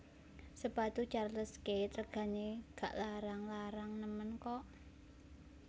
Sepatu Charles Keith regane gak larang larang nemen kok